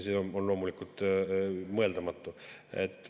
See on loomulikult mõeldamatu.